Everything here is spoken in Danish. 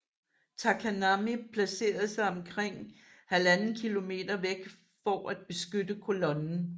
Takanami placerede sig omkring 1½ km væk for at beskytte kolonnen